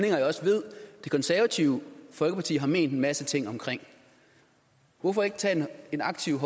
jeg også ved det konservative folkeparti har ment en masse ting om hvorfor ikke tage aktivt